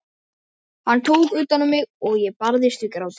Hann tók utan um mig og ég barðist við grátinn.